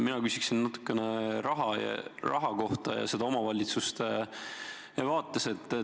Mina küsin natukene raha kohta ja seda omavalitsuste vaates.